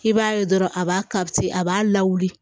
I b'a ye dɔrɔn a b'a ka a b'a la wuli